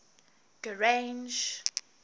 grange